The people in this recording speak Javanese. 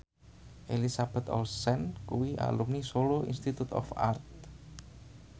Elizabeth Olsen kuwi alumni Solo Institute of Art